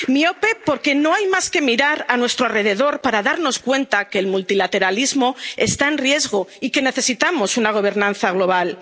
miope miope, porque no hay más que mirar a nuestro alrededor para darnos cuenta de que el multilateralismo está en riesgo y que necesitamos una gobernanza